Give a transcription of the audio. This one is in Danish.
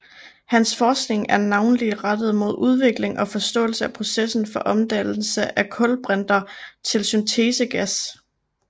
Hans forskning er navnlig rettet mod udvikling og forståelse af processen for omdannelse af kulbrinter til syntesegas